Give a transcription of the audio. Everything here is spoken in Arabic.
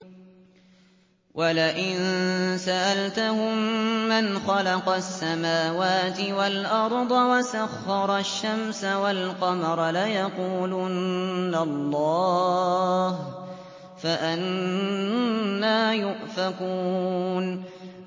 وَلَئِن سَأَلْتَهُم مَّنْ خَلَقَ السَّمَاوَاتِ وَالْأَرْضَ وَسَخَّرَ الشَّمْسَ وَالْقَمَرَ لَيَقُولُنَّ اللَّهُ ۖ فَأَنَّىٰ يُؤْفَكُونَ